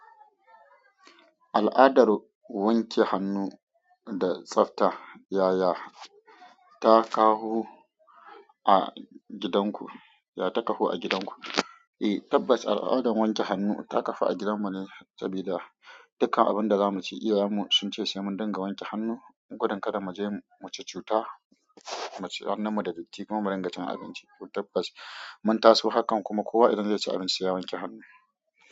Al'adar wanke hannu da tsafta ƴaƴa ta kawo a gidan ku, ya ta kafu a gidan ku? Eh tabbas al'adan wanke hannu ta kafu a gidan mu ne sabida dikkan abin da zamu ci iyayan mu sun ce semun dinga wanke hannu, gudun kada mu je mu ci cuta, mu ci hannun mu da datti kuma mu ringa cin abinci. To tabbas mun taso hakan kuma kowa idan zai ci abinci seya wanke hannu.